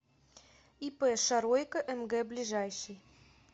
ип шаройко мг ближайший